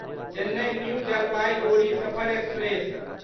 Chennai new Jalpaiguri Safar express